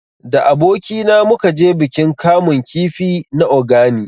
Da aboki na mu ka je bikin kamun kifi na Ogani